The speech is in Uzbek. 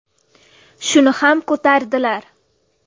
Shuni ham ko‘tardilar.